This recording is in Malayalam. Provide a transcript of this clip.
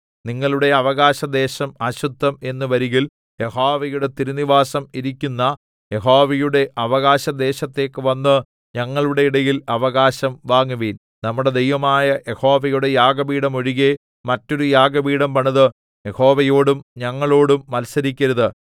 നിങ്ങളുടെ അവകാശദേശം അശുദ്ധം എന്നു വരികിൽ യഹോവയുടെ തിരുനിവാസം ഇരിക്കുന്ന യഹോവയുടെ അവകാശദേശത്തേക്ക് വന്ന് ഞങ്ങളുടെ ഇടയിൽ അവകാശം വാങ്ങുവീൻ നമ്മുടെ ദൈവമായ യഹോവയുടെ യാഗപീഠം ഒഴികെ മറ്റൊരു യാഗപീഠം പണിത് യഹോവയോടും ഞങ്ങളോടും മത്സരിക്കരുത്